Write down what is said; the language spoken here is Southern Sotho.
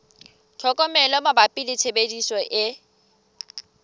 tlhokomelo mabapi le tshebediso e